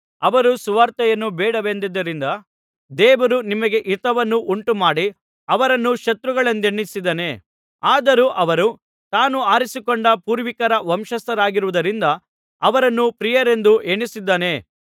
ಅವರು ಸುವಾರ್ತೆಯನ್ನು ಬೇಡವೆಂದದ್ದರಿಂದ ದೇವರು ನಿಮಗೆ ಹಿತವನ್ನು ಉಂಟುಮಾಡಿ ಅವರನ್ನು ಶತ್ರುಗಳೆಂದೆಣಿಸಿದ್ದಾನೆ ಆದರೂ ಅವರು ತಾನು ಆರಿಸಿಕೊಂಡ ಪೂರ್ವಿಕರ ವಂಶಸ್ಥರಾಗಿರುವುದರಿಂದ ಅವರನ್ನು ಪ್ರಿಯರೆಂದು ಎಣಿಸಿದ್ದಾನೆ